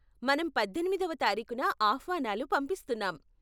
మనం పద్దెనిమిదివ తారీకున ఆహ్వానాలు పంపిస్తున్నాం.